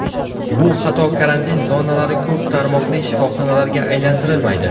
Bu xato karantin zonalari ko‘p tarmoqli shifoxonalarga aylantirilmaydi.